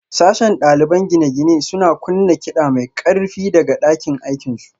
Sashen ɗaliban gine-gine suna kunna kiɗa mai ƙarfi daga ɗakin aikinsu